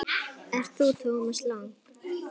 Ert þú Thomas Lang?